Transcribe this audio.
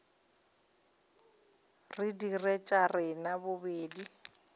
re dire tša rena bobedi